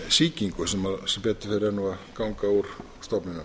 sýkingu sem betur fer er nú að ganga úr stofninum